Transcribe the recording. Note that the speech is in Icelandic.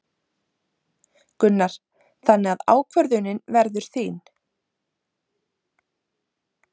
Gunnar: Þannig að ákvörðunin verður þín?